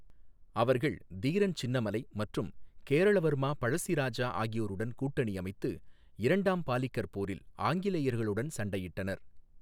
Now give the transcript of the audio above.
அவர்கள் தீரன் சின்னமலை மற்றும் கேரள வர்மா பழஸ்ஸி ராஜா ஆகியோருடன் கூட்டணி அமைத்து இரண்டாம் பாலிகர் போரில் ஆங்கிலேயர்களுடன் சண்டையிட்டனர்.